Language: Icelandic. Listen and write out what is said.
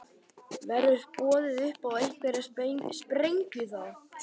Verður boðið upp á einhverja sprengju þá?